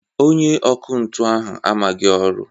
Onye ọkụ ntụ ahụ amaghị ọrụ